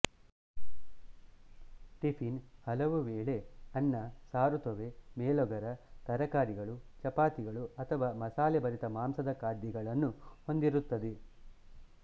ಟಿಫ಼ಿನ್ ಹಲವುವೇಳೆ ಅನ್ನ ಸಾರುತೊವ್ವೆ ಮೇಲೋಗರ ತರಕಾರಿಗಳು ಚಪಾತಿಗಳು ಅಥವಾ ಮಸಾಲೆಭರಿತ ಮಾಂಸದ ಖಾದ್ಯಗಳನ್ನು ಹೊಂದಿರುತ್ತದೆ